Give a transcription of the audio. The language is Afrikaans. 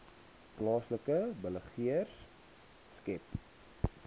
plaaslike beleggers skep